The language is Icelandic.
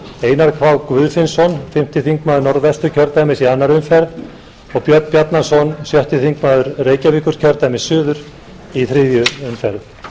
einar k guðfinnsson fimmti þingmaður norðvesturkjördæmis í annarri umferð og björn bjarnason sjötti þingmaður reykjavíkurkjördæmis suður í þriðju umferð